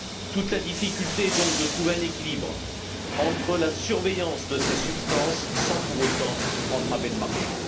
Toute la difficulté est donc de trouver un équilibre dans la surveillance de ces substances sans pour autant entraver le marché.